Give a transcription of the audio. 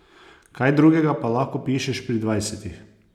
Kaj drugega pa lahko pišeš pri dvajsetih?